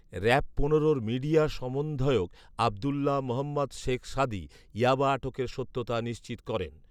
RAB পনেরোর media সমন্ধয়ক আবদুল্লাহ মোহাম্মদ শেখ সাদী ইয়াবা আটকের সত্যতা নিশ্চিত করেন